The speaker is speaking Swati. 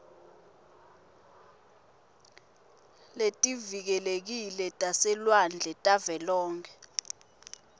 letivikelekile taselwandle tavelonkhe